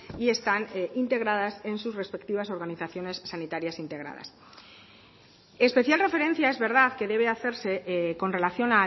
y están integradas en sus respectivas organizaciones sanitarias integradas especial referencia es verdad que debe hacerse con relación